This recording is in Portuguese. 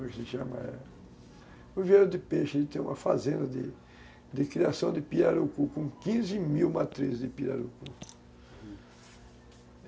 Como é que se chama é... Viveiro de peixe. Ele tem uma fazenda de de criação de pirarucu com quinze mil matrizes de pirarucu,